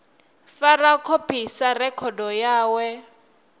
fara khophi sa rekhodo yawe